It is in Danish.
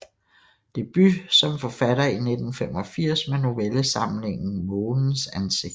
Debut som forfatter i 1985 med novellesamlingen Månens ansigt